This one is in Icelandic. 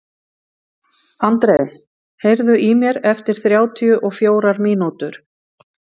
André, heyrðu í mér eftir þrjátíu og fjórar mínútur.